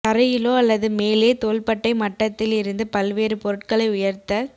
தரையிலோ அல்லது மேலே தோள்பட்டை மட்டத்தில் இருந்து பல்வேறு பொருட்களை உயர்த்தச்